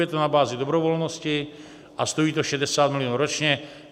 Je to na bázi dobrovolnosti a stojí to 60 milionů ročně.